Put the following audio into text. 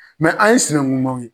Mɛ an ye sinankunmaw ye.